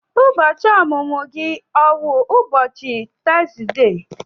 Ụbọchị ọmụmụ gị ọ wụ n'ubochi Tọzdee?